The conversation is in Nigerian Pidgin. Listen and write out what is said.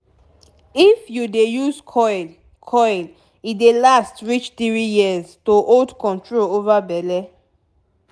if u dey use coil coil e dey last reach 3yrs - to hold control over belle.